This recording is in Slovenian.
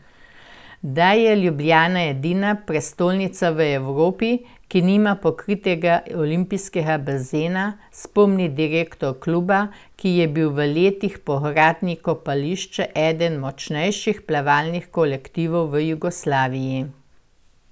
Da je Ljubljana edina prestolnica v Evropi, ki nima pokritega olimpijskega bazena, spomni direktor kluba, ki je bil v letih po gradnji kopališča eden močnejših plavalnih kolektivov v Jugoslaviji.